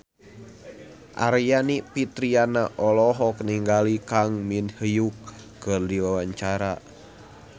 Aryani Fitriana olohok ningali Kang Min Hyuk keur diwawancara